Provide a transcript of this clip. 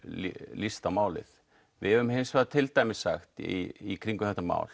líst á málið við höfum til dæmis sagt í kringum þetta mál